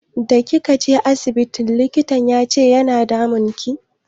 Da kika je asibiti mai likitan yace yana damunki?